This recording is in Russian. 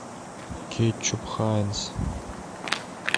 кетчуп хайнц